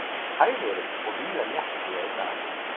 Hægviðri og víða léttskýjað í dag